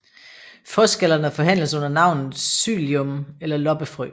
Frøskallerne forhandles under navnet psyllium eller loppefrø